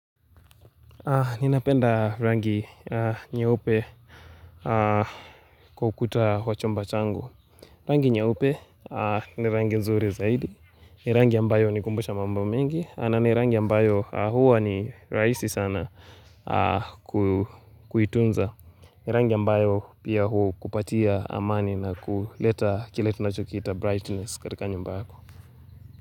Ninapenda rangi nyeupe kwa ukuta wa chumba changu. Rangi nyeupe ni rangi nzuri zaidi. Ni rangi ambayo hunikumbusha mambo mengi. Na ni rangi ambayo huwa ni rahisi sana kuitunza. Ni rangi ambayo pia hukupatia amani na kuleta kile tunachokiita brightness katika nyumbako.